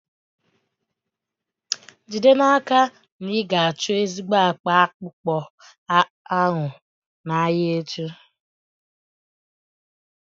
Jide n'aka na ị ga-achọ ezigbo akpa akpụkpọ anụ n'ahịa echi.